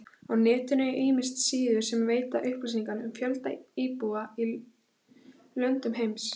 Á netinu eru ýmsar síður sem veita upplýsingar um fjölda íbúa í löndum heims.